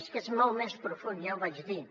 és que és molt més profund ja ho vaig dir